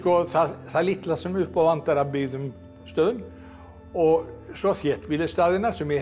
það litla sem upp á vantar af byggðum stöðum og svo þéttbýlisstaðina sem ég hef